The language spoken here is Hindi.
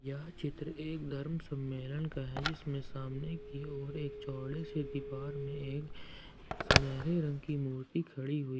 यह चित्र एक धर्म सम्मेलन का है जीसमें सामने की ओर एक चौड़े से दीवार में एक सुनहरे रंग की मूर्ति खड़ी हुई--